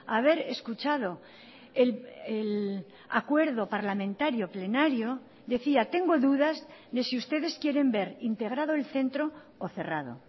haber escuchado el acuerdo parlamentario plenario decía tengo dudas de si ustedes quieren ver integrado el centro o cerrado